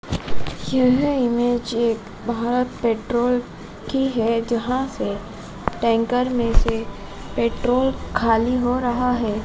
यह इमेज एक भारत पेट्रोल की है जहां से टैंकर में से पेट्रोल खाली हो रहा है।